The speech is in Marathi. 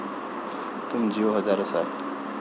तुम जियो हजारो साल...